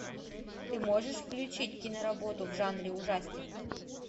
ты можешь включить киноработу в жанре ужастик